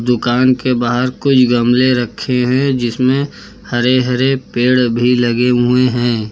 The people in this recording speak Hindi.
दुकान के बाहर कुछ गमले रखे हैं जिसमें हरे हरे पेड़ भी लगे हुए हैं।